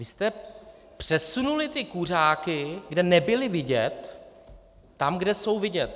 Vy jste přesunuli ty kuřáky, kde nebyli vidět, tam, kde jsou vidět.